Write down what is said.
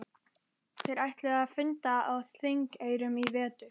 Þeir ætluðu að funda á Þingeyrum í vetur.